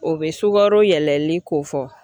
O bɛ sukaro yɛlɛli kofɔ